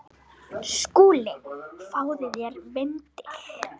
SKÚLI: Fáðu þér vindil.